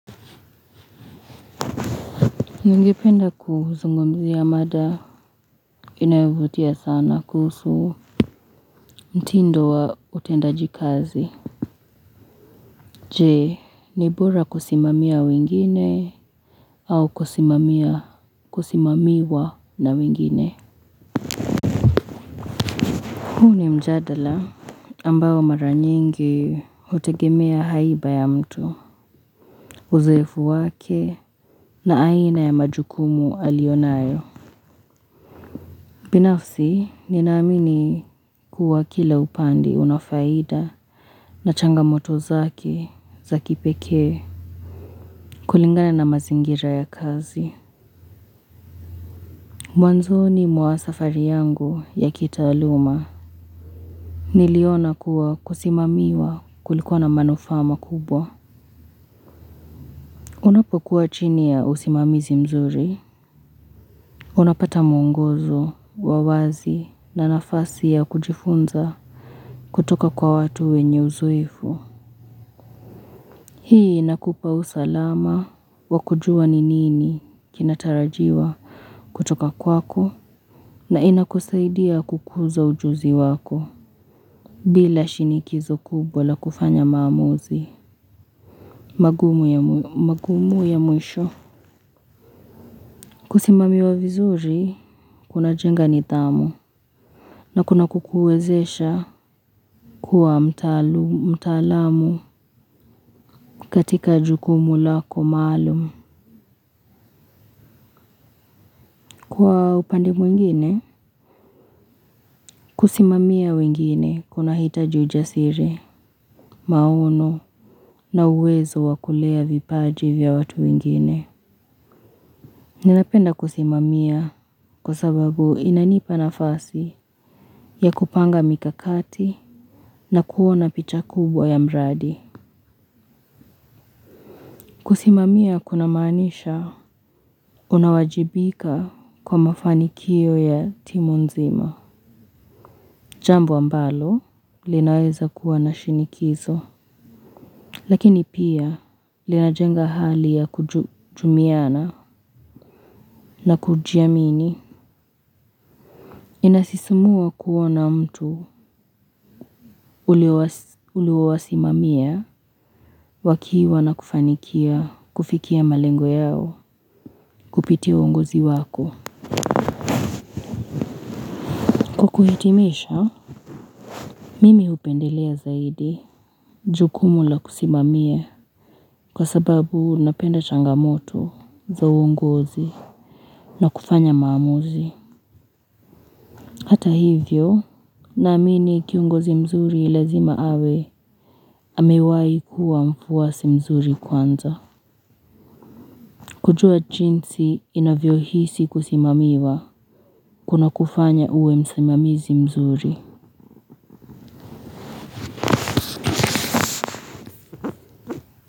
Ningependa kuzungumzia mada inayovutia sana kuhusu mtindo wa utendaji kazi. Jee, ni bora kusimamia wengine au kusimamia kusimamiwa na wengine. Huu ni mjadala ambao mara nyingi hutegemea haiba ya mtu. Uzoefu wake na aina ya majukumu alionayo. Binafsi ninaamini kuwa kila upande unafaida na changamoto zake za kipekee kulingana na mazingira ya kazi. Mwanzoni mwa safari yangu ya kitaaluma. Niliona kuwa kusimamiwa kulikua na manufaa makubwa. Unapokuwa chini ya usimamizi mzuri. Unapata mwongozo, wa wazi na nafasi ya kujifunza kutoka kwa watu wenye uzoefu. Hii inakupa usalama wa kujua ni nini kinatarajiwa kutoka kwako na inakusaidia kukuza ujuzi wako bila shinikizo kubwa la kufanya maamuzi magumu ya mwisho. Kusimamiwa vizuri kunajenga nidhamu na kunakukuwezesha kuwa mtaalamu katika jukumu lako maalum. Kwa upande mwingine? Kusimamia wengine kunahitaji ujasiri, maono na uwezo wa kulea vipaji vya watu wengine. Ninapenda kusimamia kwa sababu inanipa nafasi ya kupanga mikakati na kuona picha kubwa ya mradi. Kusimamia kunamaanisha unawajibika kwa mafanikio ya timu nzima. Jambu ambalo linaweza kuwa na shinikizo, lakini pia linajenga hali ya kujumiana na kujiamini. Inasisimua kuona mtu uliowasimamia wakiwa na kufanikia kufikia malengo yao kupitia uongozi wako. Kwa kuhitimisha, mimi hupendelea zaidi jukumu la kusimamia kwa sababu napenda changamoto za uongozi. Na kufanya maamuzi hata hivyo naamini kiongozi mzuri lazima awe amewai kuwa mfuasi mzuri kwanza kujua jinsi inavyohisi kusimamiwa kunakufanya uwe msimamizi mzuri.